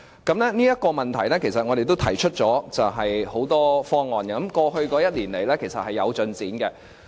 就這個問題，其實我們都提出了很多方案，過去一年來是有進展的。